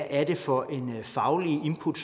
er for et fagligt input